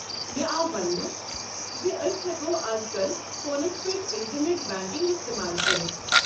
مےٚ آو ونٛنہٕ زِ أسۍ ہٮ۪کو ازكل فونس پٮ۪ٹھ اِنٹرنٮ۪ٹ بینکنٛگ استعمال کٔرِتھ۔